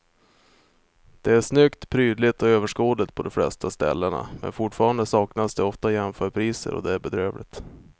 Det är snyggt, prydligt och överskådligt på de flesta ställena men fortfarande saknas det ofta jämförpriser och det är bedrövligt.